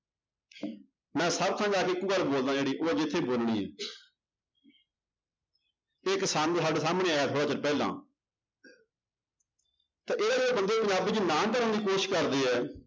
ਮੈਂ ਸਭ ਥਾਂ ਜਾ ਕੇ ਇੱਕੋ ਗੱਲ ਬੋਲਦਾਂ ਜਿਹੜੀ ਉਹ ਅੱਜ ਇੱਥੇ ਬੋਲਣੀ ਹੈ ਇੱਕ ਸਾਡੇੇ ਸਾਹਮਣੇ ਆਇਆ ਥੋੜ੍ਹੇ ਚਿਰ ਪਹਿਲਾਂ ਤਾਂ ਬੰਦੇ ਪੰਜਾਬੀ ਚ ਨਾਂ ਧਰਨ ਦੀ ਕੋਸ਼ਿਸ਼ ਕਰਦੇ ਹੈ